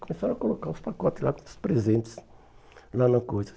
Começaram a colocar os pacotes lá com os presentes, lá na coisa.